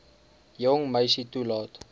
jong meisie toelaat